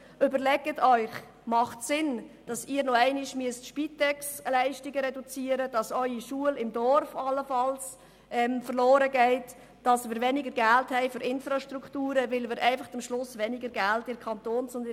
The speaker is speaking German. Überlegen Sie sich, ob es Sinn macht, dass Sie Ihre Spitexleistungen reduzieren müssen, dass Ihre Dorfschule allenfalls verloren geht, dass Sie über weniger Geld für Infrastruktur verfügen und am Ende des Tages weniger Geld in der Gemeinde- und Kantonskasse haben.